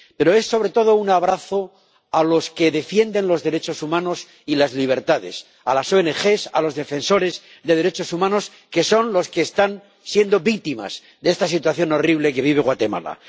Pero es, sobre todo, un abrazo a los que defienden los derechos humanos y las libertades, a las oenegés, a los defensores de derechos humanos, que son los que están siendo víctimas de esta situación horrible que vive Guatemala.